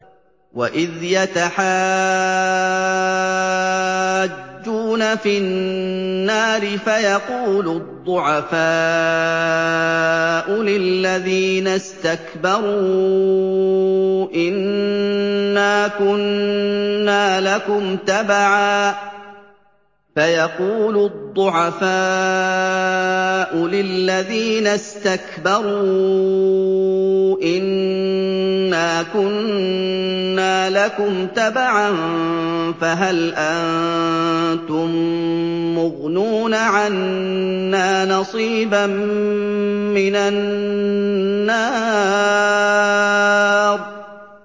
وَإِذْ يَتَحَاجُّونَ فِي النَّارِ فَيَقُولُ الضُّعَفَاءُ لِلَّذِينَ اسْتَكْبَرُوا إِنَّا كُنَّا لَكُمْ تَبَعًا فَهَلْ أَنتُم مُّغْنُونَ عَنَّا نَصِيبًا مِّنَ النَّارِ